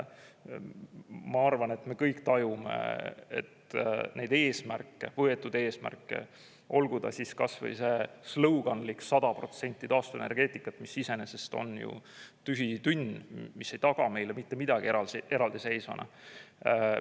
Ma arvan, et me kõik tajume, et neid eesmärke, võetud eesmärke, olgu ta siis kas või see slõuganlik "100% taastuvenergeetikat", mis iseenesest on ju tühi tünn, mis ei taga meile mitte midagi eraldiseisvana.